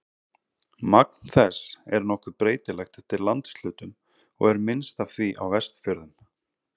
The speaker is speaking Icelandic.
Magn þess er nokkuð breytilegt eftir landshlutum og er minnst af því á Vestfjörðum.